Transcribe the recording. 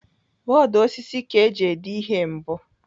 Bọọdụ osisi ka eji dee ihe mbụ.